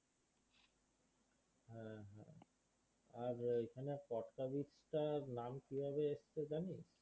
আর এইখানে কটকা beach টার নাম কীভাবে এসেছে জানিস?